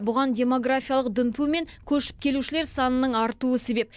бұған демографиялық дүмпу мен көшіп келушілер санының артуы себеп